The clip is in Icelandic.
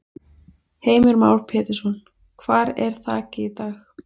Heimir Már Pétursson: Hvar er þakið í dag?